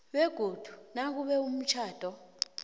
begodu nakube umtjhado